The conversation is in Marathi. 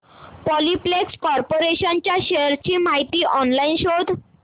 पॉलिप्लेक्स कॉर्पोरेशन च्या शेअर्स ची माहिती ऑनलाइन शोध